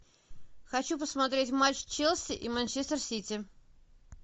хочу посмотреть матч челси и манчестер сити